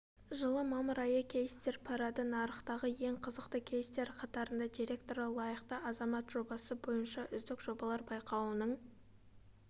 жылы мамыр айы кейстер парады нарықтағы ең қызықты кейстер қатарында директоры лайықты азамат жобасы бойынша үздік жобалар байқауының